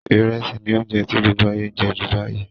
Ìrẹsì ni ounje ti gbogbo ayé n je ju báyìí